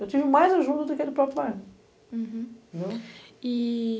Eu tive mais ajuda do que aquele próprio bairro. Uhum. Entendeu? E...